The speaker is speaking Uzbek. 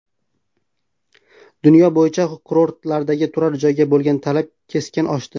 Dunyo bo‘yicha kurortlardagi turar joyga bo‘lgan talab keskin oshdi.